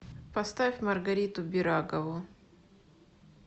поставь маргариту бирагову